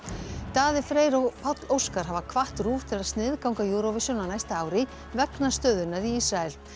Daði Freyr og Páll Óskar hafa hvatt RÚV til að sniðganga Eurovision á næsta ári vegna stöðunnar í Ísrael